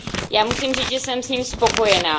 Já musím říct, že jsem s ním spokojená.